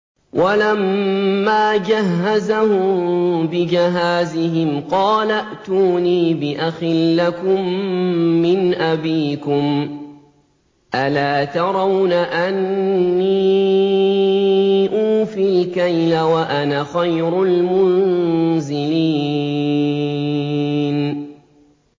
وَلَمَّا جَهَّزَهُم بِجَهَازِهِمْ قَالَ ائْتُونِي بِأَخٍ لَّكُم مِّنْ أَبِيكُمْ ۚ أَلَا تَرَوْنَ أَنِّي أُوفِي الْكَيْلَ وَأَنَا خَيْرُ الْمُنزِلِينَ